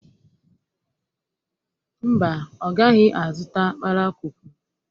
mba ọ gaghi-azụta kpalakwukwu